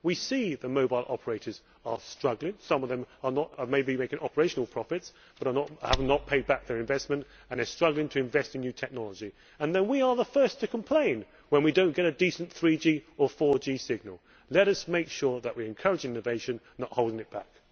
We see that mobile operators are struggling some of them may be making operational profits but have not paid back their investment and they are struggling to invest in new technology and then we are the first to complain when we do not get a decent 3G or 4G signal. Let us make sure that we are encouraging innovation and not holding it back.